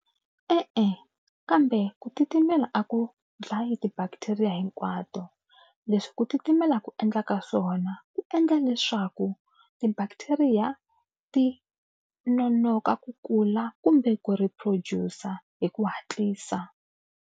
E-e kambe ku titimela a ku dlaya ti-bacteria hinkwato. Leswi ku titimela ku endlaka swona ku endla leswaku ti-bacteria ti nonoka ku kula kumbe ku reproducer hi ku hatlisa.